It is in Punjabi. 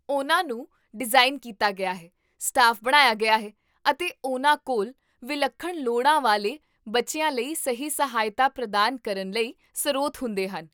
ਉਹਨਾਂ ਨੂੰ ਡਿਜ਼ਾਈਨ ਕੀਤਾ ਗਿਆ ਹੈ, ਸਟਾਫ ਬਣਾਇਆ ਗਿਆ ਹੈ, ਅਤੇ ਉਹਨਾਂ ਕੋਲ ਵਿਲੱਖਣ ਲੋੜਾਂ ਵਾਲੇ ਬੱਚਿਆਂ ਲਈ ਸਹੀ ਸਹਾਇਤਾ ਪ੍ਰਦਾਨ ਕਰਨ ਲਈ ਸਰੋਤ ਹੁੰਦੇ ਹਨ